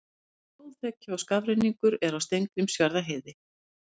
Snjóþekja og skafrenningur er á Steingrímsfjarðarheiði